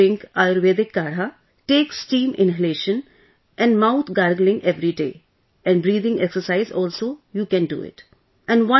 Please drink ayurvedic kaadhaआयुर्वेदिककाढ़ा, take steam inhalation and mouth gargling everyday and breathing exercise also you can do it